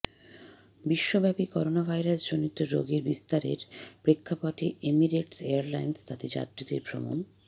বিশ্বব্যাপী করোনাভাইরাসজনিত রোগের বিস্তারের প্রেক্ষাপটে এমিরেটস এয়ারলাইন্স তাদের যাত্রীদের ভ্রমণ